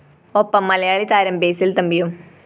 ഒപ്പം മലയാളി താരം ബസിൽ തമ്പിയും